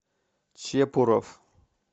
чепуров